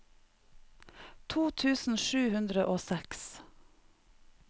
to tusen sju hundre og seks